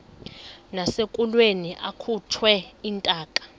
nasekulweni akhutshwe intaka